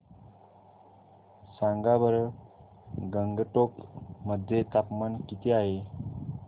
सांगा बरं गंगटोक मध्ये तापमान किती आहे